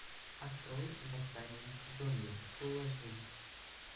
открой восстание зомби фул аш ди